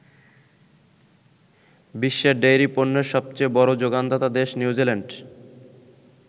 বিশ্বে ডেইরি পণ্যের সবচেয়ে বড় যোগানদাতা দেশ নিউজিল্যান্ড।